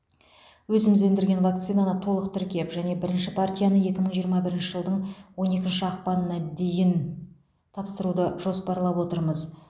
өзіміз өндірген вакцинаны толық тіркеп және бірінші партияны екі мың жиырма бірінші жылдың он екінші ақпанына дейін тапсыруды жоспарлап отырмыз